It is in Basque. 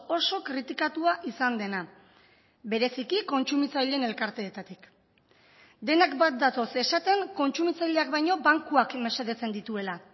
oso kritikatua izan dena bereziki kontsumitzaileen elkarteetatik denak bat datoz esaten kontsumitzaileak baino bankuak mesedetzen dituela